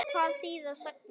Hvað þýða sagnir?